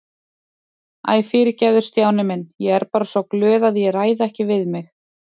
Æ, fyrirgefðu Stjáni minn, ég er bara svo glöð að ég ræð ekki við mig